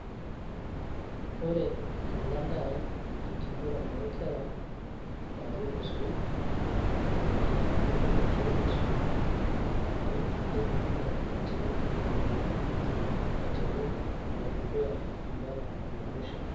ore ena naa enkiguran oo nkera, naari tosoit, ipik osoit olaini, nirumoo aitiid ilainini aiteru ole dukuy mpaka ole musho.